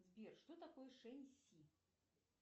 сбер что такое шен си